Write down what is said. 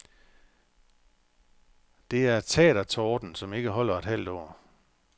Det er teatertorden, som ikke holder et halvt år.